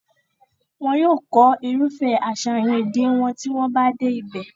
wọn yóò kọ́ irúfẹ́ àṣàyàn èdè wọn tí wọ́n bá dé ibẹ̀